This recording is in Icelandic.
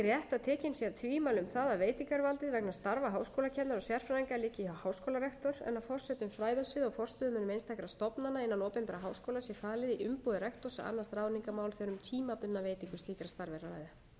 rétt að tekin séu af tvímæli um það að veitingarvaldið vegna starfa háskólakennara og sérfræðinga liggi hjá háskólarektor en að forsetum fræðasviða og forstöðumönnum einstakra stofnana innan opinberra háskóla sé falið í umboði rektors að annast ráðningarmál þegar um tímabundna veitingu slíkra starfa er að ræða